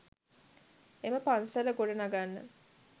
එම පන්සල ගොඩ නගන්න